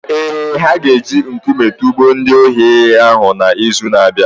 Ee, ha ga-eji nkume tụgbuo ndị ohi hụ n’izu na-abịa.